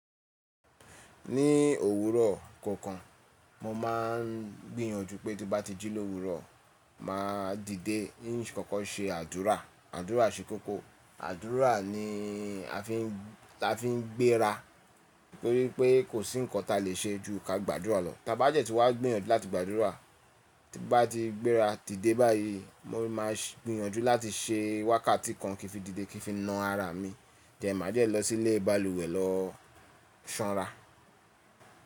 Ní òwúrọ̀ kọ̀ọ̀kan mo máa ń gbìyànjú pé tín bá ti jí l’ówùúrọ̀ maa dìde ín kókó ṣe àdúrà, àdúrà ṣe koko, àdúrà ni a fi ń gbéra torí pé kò sí nǹkan táa lè ṣe ju ka gba àdúrà lọ. Táa bá dẹ̀ ti wá gbìyànjú láti gba àdúrà, tin bá ti gbéra, dìde báyìí mo máa gbìyànjú láti ṣe wákàtí kan kí n fi dìde kí n fi na ara à mi, then máa dẹ̀ lọ sí ilé balùwẹ̀ lọ ṣanra.